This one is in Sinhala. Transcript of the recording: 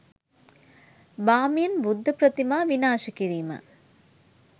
බාමියන් බුද්ධ ප්‍රතිමා විනාශ කිරීම